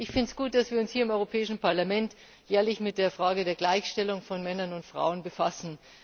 Ich finde es gut, dass wir uns hier im Europäischen Parlament ehrlich mit der Frage der Gleichstellung von Männern und Frauen befassen.